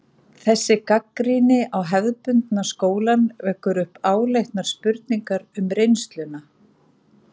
Þessi gagnrýni á hefðbundna skólann vekur upp áleitnar spurningar um reynsluna.